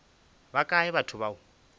ba kae batho ba o